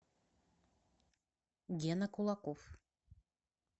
гена кулаков